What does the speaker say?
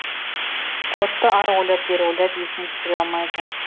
кодты ары ойлап бері ойлап есіне түсіре алмайды